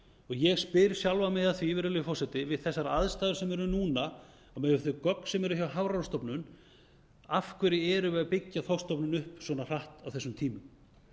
ég spyr sjálfan mig að því virðulegi forseti við þessar aðstæður sem eru núna og miðað við þau gögn sem eru hjá hafrannsóknastofnun af hverju erum við að byggja þorskstofninn upp svona hratt á þessum tímum